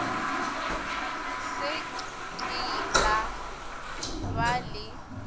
se ke la ba le